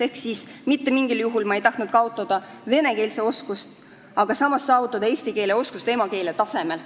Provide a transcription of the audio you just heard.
Ehk mitte mingil juhul ei tahtnud ma, et ta kaotaks vene keele oskuse, aga tahtsin, et ta saavutaks eesti keele oskuse emakeele tasemel.